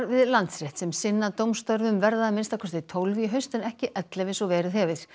við Landsrétt sem sinna dómstörfum verða að minnsta kosti tólf í haust en ekki ellefu eins og verið hefur